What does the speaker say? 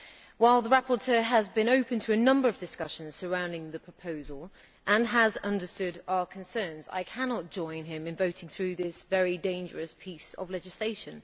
While the rapporteur has been open to a number of discussions surrounding the proposal and has understood our concerns, I cannot join him in voting through this very dangerous piece of legislation.